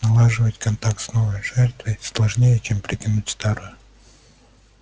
налаживать контакт с новой жертвой сложнее чем притянуть старую